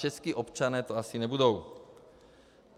Čeští občané to asi nebudou.